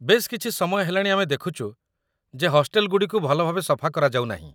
ବେଶ୍ କିଛି ସମୟ ହେଲାଣି ଆମେ ଦେଖୁଚୁ ଯେ ହଷ୍ଟେଲଗୁଡ଼ିକୁ ଭଲ ଭାବେ ସଫା କରାଯାଉନାହିଁ